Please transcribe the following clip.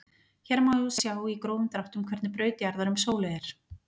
hér má sjá í grófum dráttum hvernig braut jarðar um sólu er